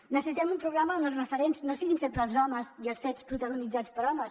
necessitem un programa on els referents no siguin sempre els homes i els fets protagonitzats per homes